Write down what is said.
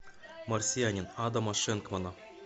марсианин адама шенкмана